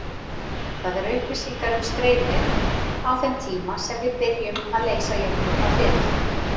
Það eru upplýsingar um streymið á þeim tíma sem við byrjum að leysa jöfnurnar fyrir.